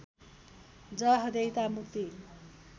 जवाफदेहीता मुक्ति